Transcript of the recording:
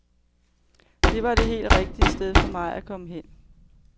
Det var det helt rigtige sted for mig at komme hen.